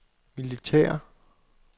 militære